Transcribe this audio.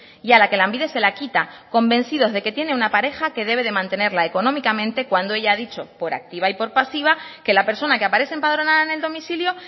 y a la que lanbide se la quita convencidos de que tiene una pareja que debe de mantenerla económicamente cuando ella ha dicho por activa y por pasiva que la persona que aparece empadronada en el domicilio